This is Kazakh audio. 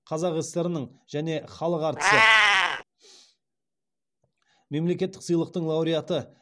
қазақ сср інің және халық әртісі мемлекеттік сыйлықтың лауреаты